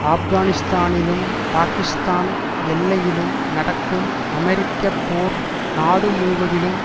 ஆப்கானிஸ்தானிலும் பாக்கிஸ்தான் எல்லையிலும் நடக்கும் அமெரிக்க போர் நாடு முழுவதிலும்